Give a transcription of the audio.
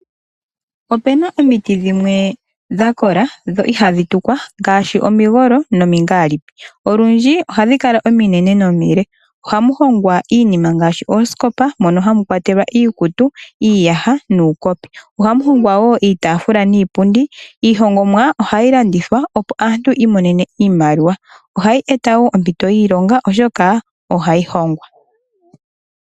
Ope na omiti dhimwe dha kola, dho ihadhi tukwa ngaashi omigolo nomiingaalipi. Olundji ohadhi kala ominene nomile. Ohamu hongwa iinima ngaashi oosikopa, mono hamu kwatelwa iikutu, iiyaha nuukopi. Ohamu hongwa wo iitafula niipundi. Iihongomwa ohayi landithwa, opo aantu yi imonene iimaliwa. Ohayi eta wo ompito yiilonga, oshoka ohayi hongwa.